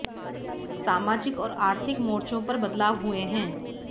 सामाजिक और आर्थिक मोर्चों पर बदलाव हुये हैं